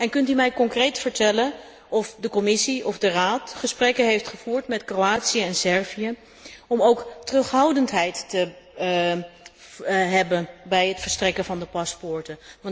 Kunt u mij concreet vertellen of de Commissie of de Raad gesprekken heeft gevoerd met Kroatië en Servië om ook terughoudendheid te betrachten bij het verstrekken van de paspoorten.